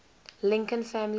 lincoln family